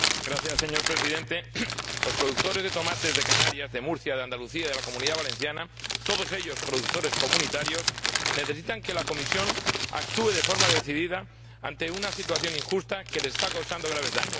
Señor Presidente, los productores de tomates de Canarias, de Murcia, de Andalucía, de la Comunidad Valenciana, todos ellos productores comunitarios, necesitan que la Comisión actúe de forma decidida ante una situación injusta que les está causando graves daños.